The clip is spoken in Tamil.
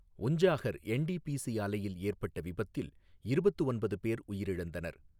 உஞ்சாஹர் என்டிபிசி ஆலையில் ஏற்பட்ட விபத்தில் இருபத்து ஒன்பது பேர் உயிரிந்தனர்.